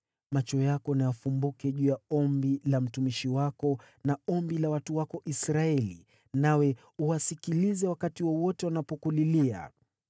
“Macho yako na yafumbuke juu ya ombi la mtumishi wako na ombi la watu wako Israeli, nawe uwasikilize wakati wowote wanapokulilia.